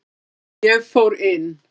Ég fór inn.